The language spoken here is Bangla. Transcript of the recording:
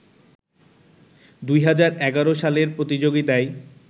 ২০১১ সালের প্রতিযোগিতায়